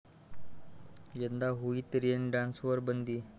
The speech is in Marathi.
यंदा होळीत रेन डान्सवर बंदी